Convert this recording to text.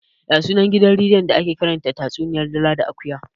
Ya sunan gidan rediyon da ake karanta tatsuniyar dila da akuya?